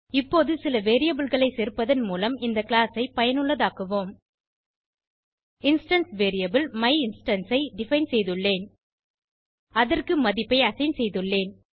இப்போது சில வேரியபிள் களை சேர்ப்பதன் மூலம் இந்த கிளாஸ் ஐ பயனுள்ளதாக்குவோம் இன்ஸ்டான்ஸ் வேரியபிள் மையின்ஸ்டன்ஸ் ஐ டிஃபைன் செய்துள்ளேன் அதற்கு மதிப்பை அசைன் செய்துள்ளேன்